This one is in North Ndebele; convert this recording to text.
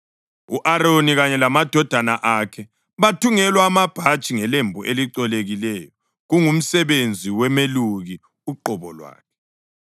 U-Aroni kanye lamadodana akhe bathungelwa amabhatshi ngelembu elicolekileyo, kungumsebenzi womeluki uqobo lwakhe,